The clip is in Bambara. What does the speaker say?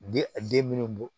De a den minnu bɔ